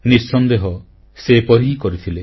ନିଃସନ୍ଦେହ ସେ ଏପରି ହିଁ କରିଥିଲେ